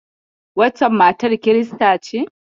Waccen matar kirista ce?